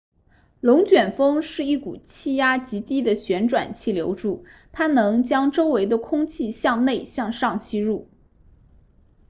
龙卷风是一股气压极低的旋转气流柱它能将周围的空气向内向上吸入